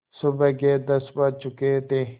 सुबह के दस बज चुके थे